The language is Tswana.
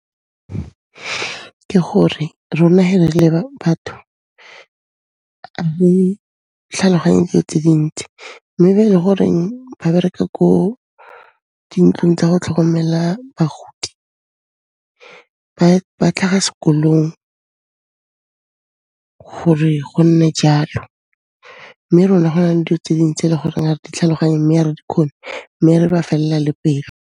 Ke gore rona he ne re le batho re tlhaloganye diyo tse dintsi, mme ba e le goreng ba bereka ko dintlong tsa go tlhokomela bagodi, ba tlhaga sekolong gore go nne jalo, mme rona go na le diyo tse ding tse e le goreng ga di tlhaloganye, mme a re di kgone, mme re ba fella le pelo.